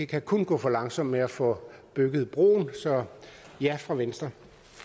kan kun gå for langsomt med at få bygget broen så ja fra venstre